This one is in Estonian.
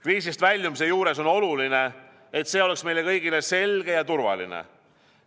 Kriisist väljumise juures on oluline, et see oleks meile kõigile selge ja turvaline.